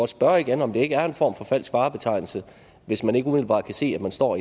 spørge igen om det ikke er en form for falsk varebetegnelse hvis man ikke umiddelbart kan se at man står